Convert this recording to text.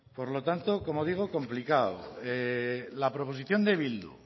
por lo tanto como digo complicado la proposición de bildu